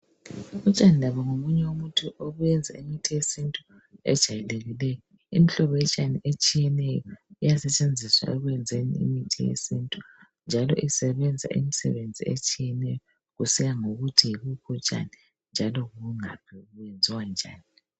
Utshani labo ngobunye obenza imithi yesintu ejwayelekileyo, imihlobo yotshani etshiyeneyo iyasetshenziswa ekwenzeni imithi yesintu. Njalo isebenza imisebenzi etshiyeneyo kusiya ngokuthi yibuphi utshani, bungaphi.